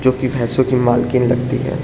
जो कि भैसों की मालकिन लगती है।